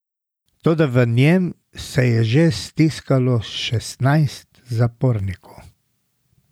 Toda v njem se je že stiskalo šestnajst zapornikov!